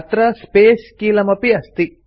अत्र स्पेस् कीलमपि अस्ति